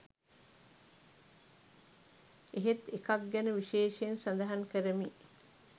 එහෙත් එකක් ගැන විශේෂයෙන් සඳහන් කරමි